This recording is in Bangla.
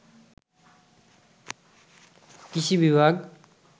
কৃষি বিভাগ